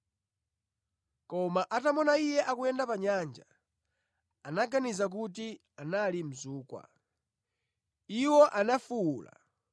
koma atamuona Iye akuyenda pa nyanja, anaganiza kuti anali mzukwa. Iwo anafuwula,